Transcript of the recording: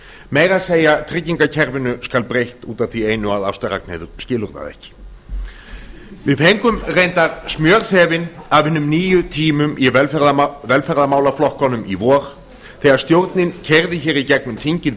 meira að segja tryggingakerfinu skal breytt út af því einu að ásta ragnheiður skilur það ekki við fengum reyndar smjörþefinn af hinum nýju tímum í velferðarmálaflokkunum í vor þegar stjórnin keyrði hér í gegnum þingið